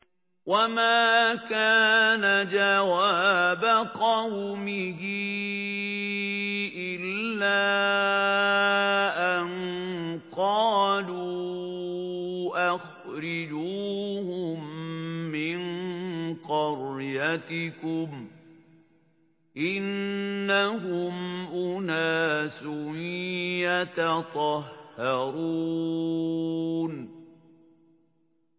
وَمَا كَانَ جَوَابَ قَوْمِهِ إِلَّا أَن قَالُوا أَخْرِجُوهُم مِّن قَرْيَتِكُمْ ۖ إِنَّهُمْ أُنَاسٌ يَتَطَهَّرُونَ